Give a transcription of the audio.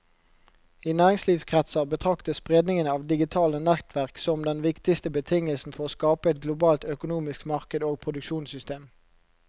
I næringslivskretser betraktes spredningen av digitale nettverk som den viktigste betingelsen for å skape et globalt økonomisk marked og produksjonssystem.